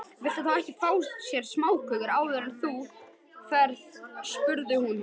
Viltu þá ekki fá þér smáköku áður en þú ferð spurði hún.